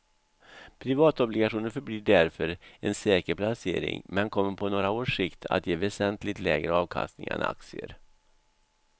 Privatobligationer förblir därför en säker placering men kommer på några års sikt att ge väsentligt lägre avkastning än aktier.